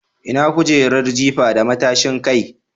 Ina kujerar jifa da matashin kai?